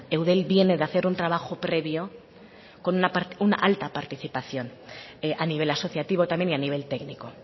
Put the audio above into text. eudel viene de hacer un trabajo previo con una alta participación a nivel asociativo también y a nivel técnico